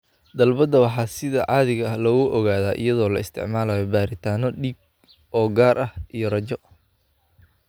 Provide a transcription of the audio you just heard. Dalbada waxaa sida caadiga ah lagu ogaadaa iyadoo la isticmaalayo baaritaanno dhiig oo gaar ah iyo raajo.